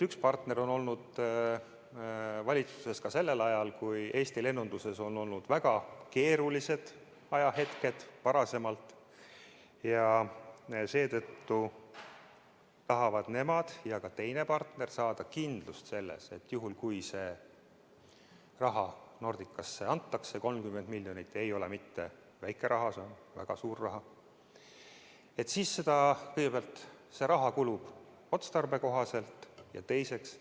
Üks partnereid oli valitsuses sel ajal, kui Eesti lennunduses olid varem väga keerulised ajahetked, ja seetõttu tahavad nemad ja tahab ka teine partner saada kindlust, et kui see raha Nordicale antakse – 30 miljonit ei ole mitte väike raha, see on väga suur raha –, siis see raha kulub otstarbekohaselt, ja teiseks,